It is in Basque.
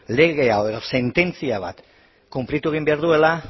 lege bat edo sententzia bat konplitu egin behar duela